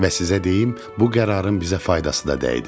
Və sizə deyim, bu qərarın bizə faydası da dəydi.